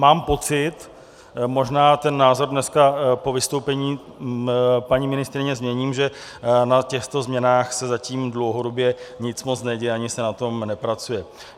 Mám pocit, možná ten názor dnes po vystoupení paní ministryně změním, že na těchto změnách se zatím dlouhodobě nic moc neděje, ani se na tom nepracuje.